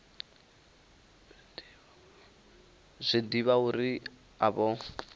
zwi ḓivha uri a vho